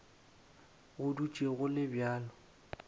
go dutše go le bjalo